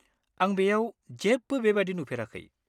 आं बेयाव जेबो बेबादि नुफेराखै।